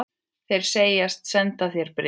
Þeir segjast senda þér bréfin.